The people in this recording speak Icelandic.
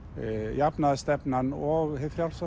jafnaðarstefnan og hið frjálsa